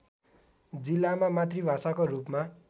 जिल्लामा मातृभाषाको रूपमा